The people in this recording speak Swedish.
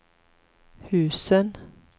husen